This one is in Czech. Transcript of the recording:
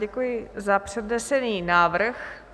Děkuji za přednesený návrh.